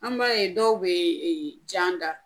An b'a ye dɔw bee jan da